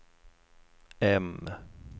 M